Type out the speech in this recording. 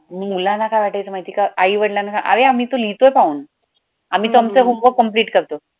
मग मुलांना काय वाटायचं माहितीये का आई-वडिलांना अरे आम्ही तर लिहितोय पाहून आम्ही तर आमचं homework complete करतोय.